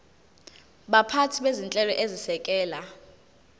baphathi bezinhlelo ezisekela